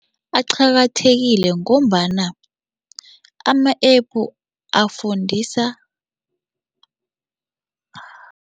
Aqakathekile ngombana ama-App afundisa.